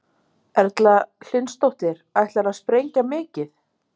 Erla Hlynsdóttir: Ætlarðu að sprengja mikið?